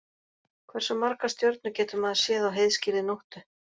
Hversu margar stjörnur getur maður séð á heiðskírri nóttu?